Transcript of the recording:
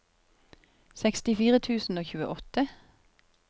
sekstifire tusen og tjueåtte